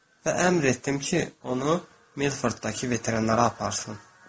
Və əmr etdim ki, onu Milforddakı veterinara aparsın.